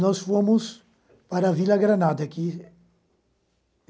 Nós fomos para a Vila Granada que